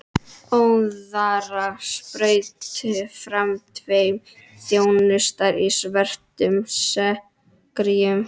Óðara spruttu fram tveir þjónar í svörtum serkjum.